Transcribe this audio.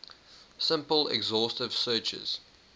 simple exhaustive searches